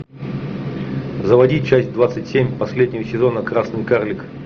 заводи часть двадцать семь последнего сезона красный карлик